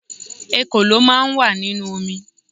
Ekòló máà ń wà nínú omi